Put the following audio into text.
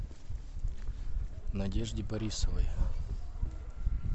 надежде борисовой